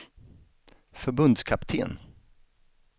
förbundskapten